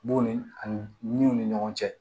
B'o ni ani min ni ɲɔgɔn cɛ